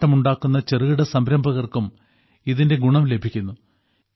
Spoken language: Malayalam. കളിപ്പാട്ടമുണ്ടാക്കുന്ന ചെറുകിട സംരംഭകർക്കും ഇതിന്റെ ഗുണം ലഭിക്കുന്നു